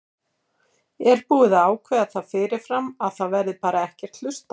Er búið að ákveða það fyrirfram að það verði bara ekkert hlustað?